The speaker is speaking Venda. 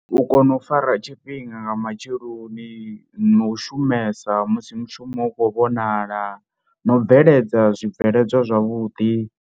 U kona u fara tshifhinga nga matsheloni no u shumesa musi mushumo u khou vhonala na u bveledza zwibveledzwa zwavhuḓi.